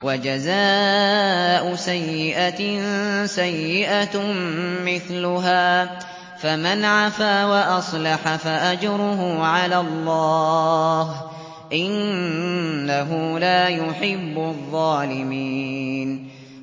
وَجَزَاءُ سَيِّئَةٍ سَيِّئَةٌ مِّثْلُهَا ۖ فَمَنْ عَفَا وَأَصْلَحَ فَأَجْرُهُ عَلَى اللَّهِ ۚ إِنَّهُ لَا يُحِبُّ الظَّالِمِينَ